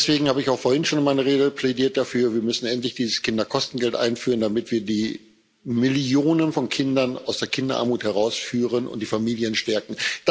Deswegen habe ich auch vorhin schon in meiner Rede dafür plädiert Wir müssen endlich dieses Kinderkostengeld einführen, damit wir die Millionen von Kindern aus der Kinderarmut herausführen und die Familien stärken.